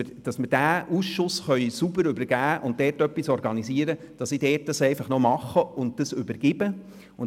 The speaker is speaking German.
Wir mussten also etwas organisieren, damit ich die Übergabe noch vollziehen kann.